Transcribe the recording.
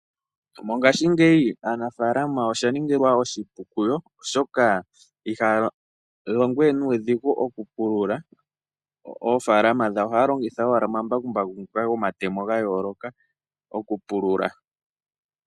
Mongashingeyi aanafaalama osha ningilwa oshipu kuyo, oshoka iha ya longo we nuudhigu oku pulula, oofaalama dhawo. Ohaya longitha owala omambakumbaku ngoka gomatemo ga yooloka, oku pulula.